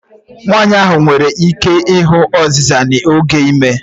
Nwanyị ahụ nwere ike ịhụ ọzịza n'oge ime.